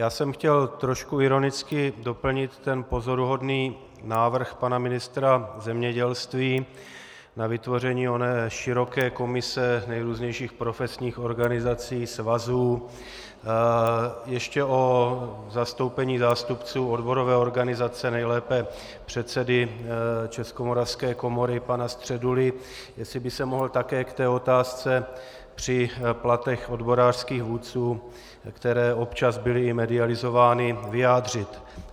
Já jsem chtěl trošku ironicky doplnit ten pozoruhodný návrh pana ministra zemědělství na vytvoření oné široké komise nejrůznějších profesních organizací, svazů ještě o zastoupení zástupců odborové organizace, nejlépe předsedy Českomoravské komory pana Středuly, jestli by se mohl také k té otázce při platech odborářských vůdců, které občas byly i medializovány, vyjádřit.